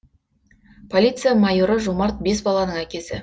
полиция майоры жомарт бес баланың әкесі